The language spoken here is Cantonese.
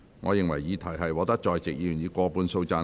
我認為議題獲得在席議員以過半數贊成。